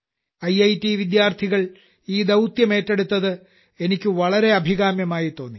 IIT വിദ്യാർത്ഥികൾ ഈ ദൌത്യം ഏറ്റെടുത്തത് എനിക്ക് വളരെ അഭികാമ്യമായിത്തോന്നി